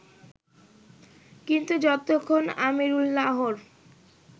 কিন্তু যতক্ষণ আমিরুল্লাহর